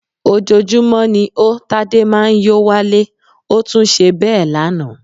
Ojoojúmọ́ ni ó Tádé máa ń yó wálé, ó tún ṣe bẹ́ẹ̀ lánàá